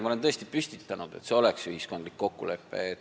Ma olen tõesti püstitanud sellise eesmärgi, et see oleks ühiskondlik kokkulepe.